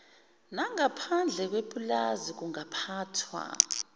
nangaphandle kwepulazi kungaphathwa